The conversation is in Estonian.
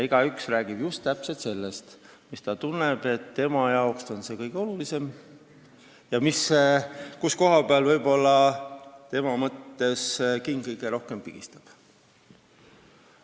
Igaüks räägib just täpselt sellest, mis tema arvates on see kõige olulisem ja kus koha pealt tema arvates king kõige rohkem pigistab.